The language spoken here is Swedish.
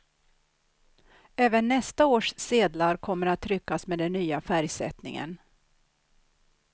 Även nästa års sedlar kommer att tryckas med den nya färgsättningen.